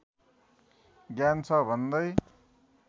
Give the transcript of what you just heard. ज्ञान छ भन्दै